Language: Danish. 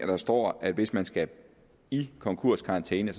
der står at hvis man skal i konkurskarantæne